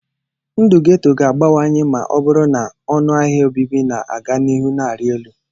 Ndụ ghetto ga-abawanye ma ọ bụrụ na ọnụ ahịa obibi na-aga n'ihu na-arị elu.